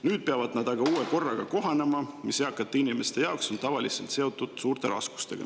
Nüüd peavad nad aga kohanema uue korraga, mis eakate inimeste jaoks on tavaliselt seotud suurte raskustega.